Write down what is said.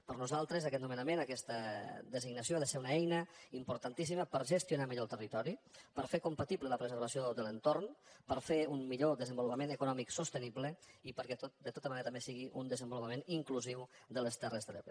per a nosaltres aquest nomenament aquesta designació ha de ser una eina importantíssima per gestionar millor el territori per fer compatible la preservació de l’entorn per fer un millor desenvolupament econòmic sostenible i perquè de tota manera també sigui un desenvolupa·ment inclusiu de les terres de l’ebre